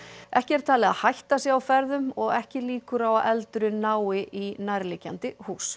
ekki er talið að hætta sé á ferðum og ekki líkur á að eldurinn nái í nærliggjandi hús